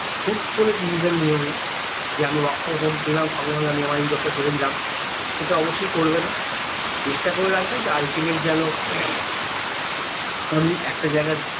হুট্ করে decision নিয়োনা যে আমি work from home পেলাম সঙ্গে সঙ্গে আমি আমার এই job টা ছেড়ে দিলাম সেটা অবশই করবেন চেষ্টা করে রাখবে ultimate যেন আমি একটা জায়গায়